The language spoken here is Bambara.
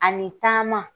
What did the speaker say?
Ani taama